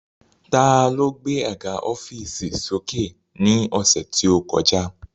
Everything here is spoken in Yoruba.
Ta ló gbé àga ọ́fììsì sókè ní ọ̀sẹ̀ tí ó kọjá